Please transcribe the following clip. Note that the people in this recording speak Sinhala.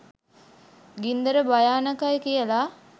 ගින්දර භයානකයි කියලා